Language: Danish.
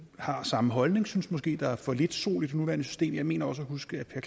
har samme holdning og synes måske der er for lidt sol i det nuværende system jeg mener også at huske at